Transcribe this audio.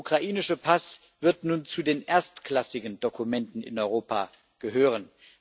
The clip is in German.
Der ukrainische Pass wird nun zu den erstklassigen Dokumenten in Europa gehören.